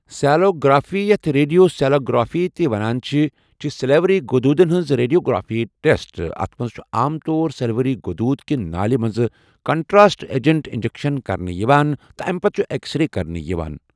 sialography یَتھ radiosialography تہِ ونان چھِ چھِ سلایوری غدودن ہنز ریڈیوگرافک ٹؠسٹ اَتھ مَنٛز چھُ عام طور سلایوری غۆدوٗد کہِ نالہِ مَنٛز کَنٹراسٹ ایجَنٹُک اِنجَکشَن کَرنہٕ یِوان تہٕ اَمہِ پَتہٕ چھُ اؠکسرے کَرنہٕ یِوان